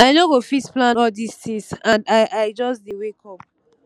i no go fit plan all dis things and i i just dey wake up